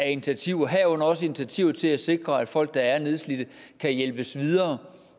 initiativer herunder også initiativer til at sikre at folk der er nedslidte kan hjælpes videre